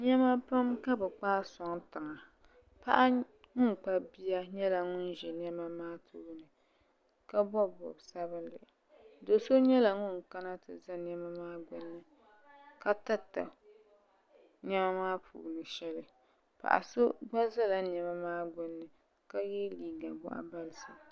Niɛma pam ka bɛ kpaagi n sɔŋ tiŋa paɣa ŋun kpabi bia nyɛla ŋun ʒi niɛma maa tooni ka bobi bobsabinli doso nyɛla ŋun kana ti za niɛma maa gbini ka tirita niɛma maa puuni shɛli paɣaso gba zala niɛma gbini ka ye liiga boɣu balisi.